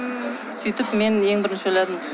сөйтіп мен ең бірінші ойладым